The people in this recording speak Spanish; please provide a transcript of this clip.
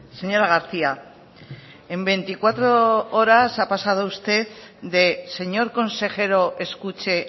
señora garcía en veinticuatro horas ha pasado usted de señor consejero escuche